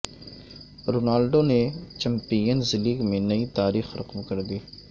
Ronaldo نے Champions League میں نئی تاریخ رقم کردی